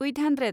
eight hundred